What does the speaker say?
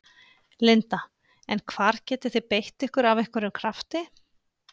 Linda: En hvar getið þið beitt ykkur af einhverjum krafti?